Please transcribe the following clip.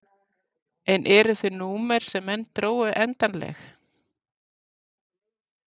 En eru þau númer sem menn drógu endanleg?